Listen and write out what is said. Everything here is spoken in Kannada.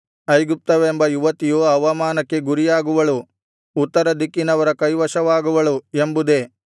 ಐಗುಪ್ತವೆಂಬ ಯುವತಿಯು ಅವಮಾನಕ್ಕೆ ಗುರಿಯಾಗುವಳು ಉತ್ತರ ದಿಕ್ಕಿನವರ ಕೈವಶವಾಗುವಳು ಎಂಬುದೇ